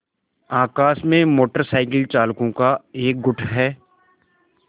आकाश में motorcycle चालकों का एक गुट है